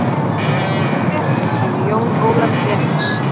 Ferðastu um Netið sagði Jón Ólafur efins